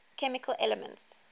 chemical elements